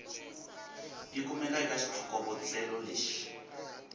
yi kumaka eka xitlhokovetselo lexi